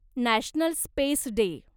national space day